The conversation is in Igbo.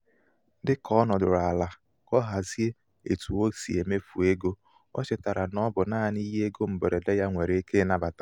dị ka ọ nọdụrụ ala ka ọ hazie etu ọ si emefu ego o chetara na ọ bụ naanị ihe égo mgberede ya nwéré ike ịnabata.